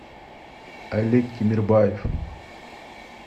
олег тимирбаев